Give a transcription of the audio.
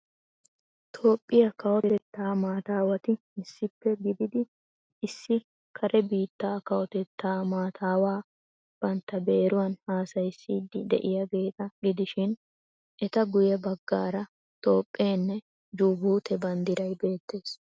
Toophphiya Kawotettaa maatawati issippe gidid issi kare biittaa kawotettaa mataawaa bantta beeruwan hasayissidi de'iyaageeta gidishiin eta guye baggara toophpheenne jubute banddiray beettees.